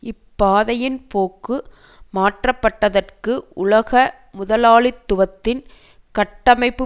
இப்பாதையின் போக்கு மாற்ற பட்டதற்கு உலக முதலாளித்துவத்தின் கட்டமைப்பு